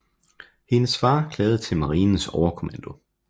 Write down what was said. Hendes far klagede til marinens overkommando